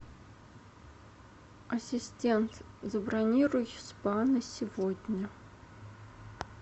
ассистент забронируй спа на сегодня